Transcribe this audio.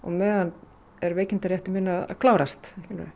meðan er veikindarétturinn að klárast